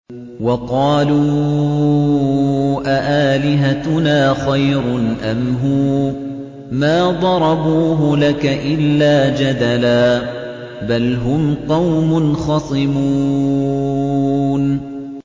وَقَالُوا أَآلِهَتُنَا خَيْرٌ أَمْ هُوَ ۚ مَا ضَرَبُوهُ لَكَ إِلَّا جَدَلًا ۚ بَلْ هُمْ قَوْمٌ خَصِمُونَ